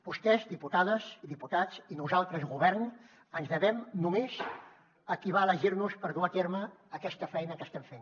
vostès diputades i diputats i nosaltres govern ens devem només a qui va elegir nos per dur a terme aquesta feina que estem fent